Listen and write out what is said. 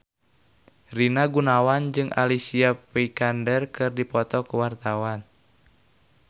Rina Gunawan jeung Alicia Vikander keur dipoto ku wartawan